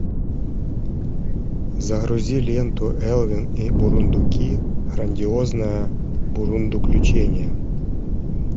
загрузи ленту элвин и бурундуки грандиозное бурундуключение